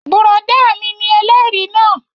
Bùrọ̀dá mi ni ẹlẹ́rìí náà